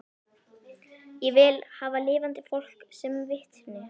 Ég vil hafa lifandi fólk sem vitni